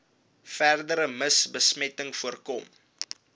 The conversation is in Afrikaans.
verdere mivbesmetting voorkom